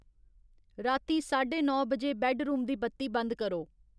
रातीं साड्ढे नौ बजे बैड्डरूम दी बत्ती बंद करो।